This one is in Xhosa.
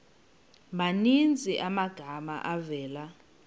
maninzi amagama avela